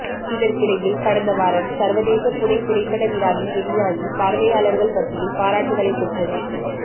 இதற்கிடையில் கடந்தவாரம் சர்வதேச புனே திரைப்பட விழாவில் வெளியாகி பார்வையாளர்கள் மத்தியில் பாராட்டுக்களை பெற்றது